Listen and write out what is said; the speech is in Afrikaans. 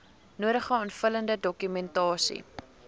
nodige aanvullende dokumentasie